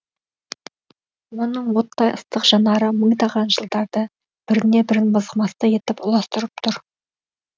оның оттай ыстық жанары мыңдаған жылдарды біріне бірін мызғымастай етіп ұластырып тұр